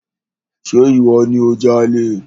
Ṣe ìwọ ni o jalè?